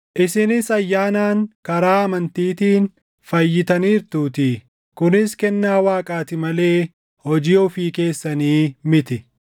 Isinis ayyaanaan karaa amantiitiin fayyitaniirtuutii; kunis kennaa Waaqaati malee hojii ofii keessanii miti;